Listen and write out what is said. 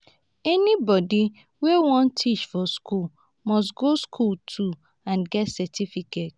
anybody wey won teach for school must go school too and get certificate